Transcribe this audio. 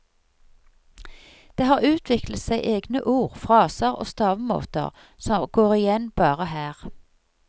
Det har utviklet seg egne ord, fraser og stavemåter som går igjen bare her.